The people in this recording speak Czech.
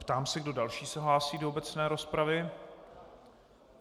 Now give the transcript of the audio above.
Ptám se, kdo další se hlásí do obecné rozpravy.